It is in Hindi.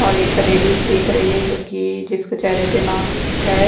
और एक लेडिस दिख रही है जो कि जिसके चेहरे पर मार्क्स है।